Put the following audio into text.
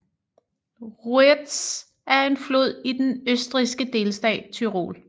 Ruetz er en flod i den østrigske delstat Tyrol